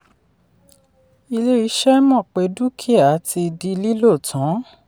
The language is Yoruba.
ilé-iṣẹ́ mọ̀ pé dúkìá ti “di lílò tán”.